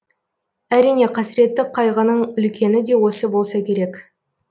әрине қасіретті қайғының үлкені де осы болса керек